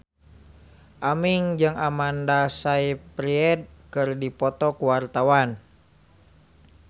Aming jeung Amanda Sayfried keur dipoto ku wartawan